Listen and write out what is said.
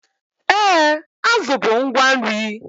Ee, azụ bụ ngwa nri